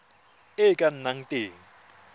e e ka nnang teng